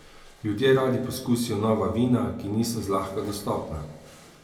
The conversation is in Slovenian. Ljudje radi poskusijo nova vina, ki niso zlahka dostopna.